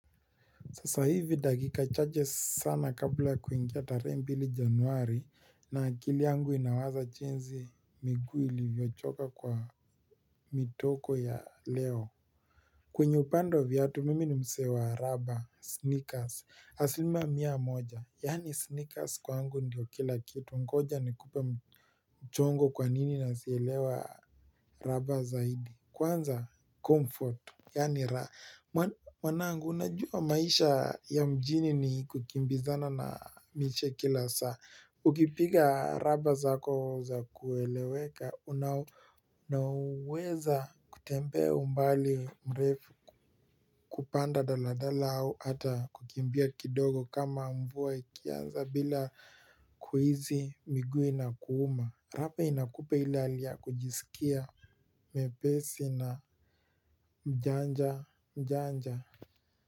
Sasa hivi dakika chache sana kabla ya kuingia tarehe mbili Januari na akili yangu inawaza jinsi miguu ilivyochoka kwa mtoko ya leo. Kwenye upande wa viatu mimi ni msee wa rubber, sneakers asilimia mia moja. Yaani sneakers kwangu ndio kila kitu ngoja nikupe mchongo kwa nini nazielewa rubber zaidi. Kwanza, comfort, yaani mwanangu unajua maisha ya mjini ni kukimbizana na miche kila saa. Ukipiga raba zako za kueleweka unaweza kutembea umbali mrefu kupanda daladala au hata kukimbia kidogo kama mvua ikianza bila kuhisi miguu inakuuma. Rubber inakupa ile hali ya kujisikia mwepesi na mjanja.